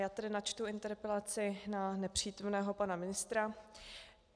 Já tedy načtu interpelaci na nepřítomného pana ministra.